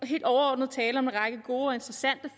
helt overordnet tale om en række gode og interessante